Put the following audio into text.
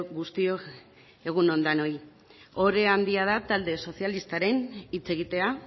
guztiok egun on denoi ohore handia da talde sozialistaren hitz egitea